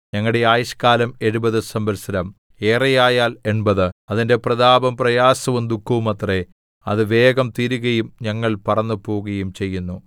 ഞങ്ങളുടെ ആയുഷ്കാലം എഴുപത് സംവത്സരം ഏറെ ആയാൽ എൺപത് അതിന്റെ പ്രതാപം പ്രയാസവും ദുഃഖവുമത്രേ അത് വേഗം തീരുകയും ഞങ്ങൾ പറന്നു പോകുകയും ചെയ്യുന്നു